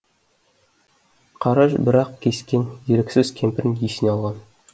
қараш бір ақ кескен еріксіз кемпірін есіне алған